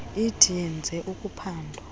ithi yenze uphando